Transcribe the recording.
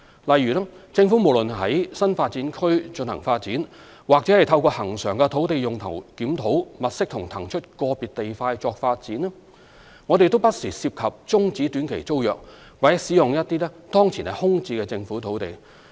例如，政府無論於新發展區進行發展，或透過恆常的土地用途檢討物色及騰出個別地塊發展，均不時涉及終止短期租約或使用一些當前空置的政府土地。